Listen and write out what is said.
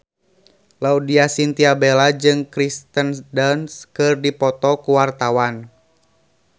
Laudya Chintya Bella jeung Kirsten Dunst keur dipoto ku wartawan